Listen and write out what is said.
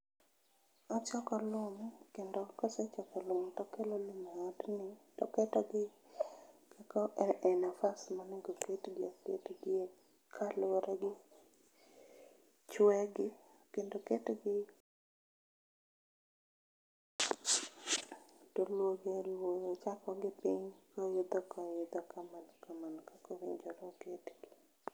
Ochoko lum kendo kosechoko lum tokelo lum e odni toketogi e nafas monego ketgie gibede kaluoregi chwe gi kendo oketgi toluo gi aluoa ochako gi piny koidho koidho kamano kamano kaka onego oketgi